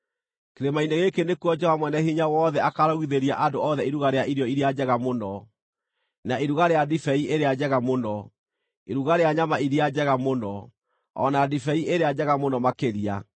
Kĩrĩma-inĩ gĩkĩ nĩkuo Jehova Mwene-Hinya-Wothe akaarugithĩria andũ othe iruga rĩa irio iria njega mũno, na iruga rĩa ndibei ĩrĩa njega mũno: iruga rĩa nyama iria njega mũno, o na ndibei ĩrĩa njega mũno makĩria.